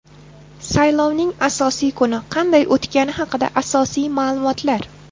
Saylovning asosiy kuni qanday o‘tgani haqida asosiy ma’lumotlar.